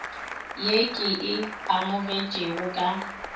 ye ke e amogetšego ka